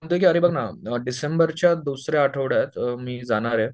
म्हणतोय की अरे बघ ना डिसेंबर च्या दुसऱ्या आठवड्यात मी जाणारे